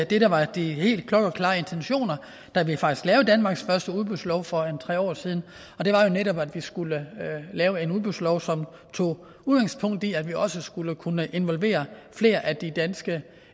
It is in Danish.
det der var de helt klokkeklare intentioner da vi faktisk lavede danmarks første udbudslov for tre år siden det var jo netop at vi skulle lave en udbudslov som tog udgangspunkt i at vi også skulle kunne involvere flere af de danske